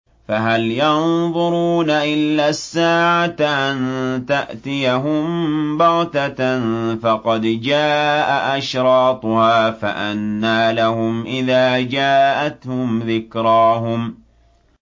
فَهَلْ يَنظُرُونَ إِلَّا السَّاعَةَ أَن تَأْتِيَهُم بَغْتَةً ۖ فَقَدْ جَاءَ أَشْرَاطُهَا ۚ فَأَنَّىٰ لَهُمْ إِذَا جَاءَتْهُمْ ذِكْرَاهُمْ